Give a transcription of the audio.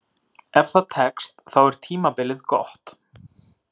Ef það tekst, þá er tímabilið gott.